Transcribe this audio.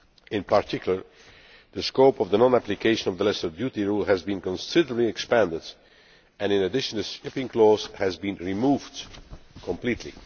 In particular, the scope of the non application of the lesser duty rule has been considerably expanded and, in addition, the shipping clause has been removed completely.